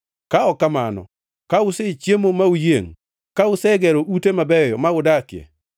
Ka ok kamano, ka usechiemo ma uyiengʼ, ka usegero ute mabeyo ma udakie